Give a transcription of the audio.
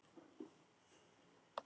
Þín vinkona Hafdís.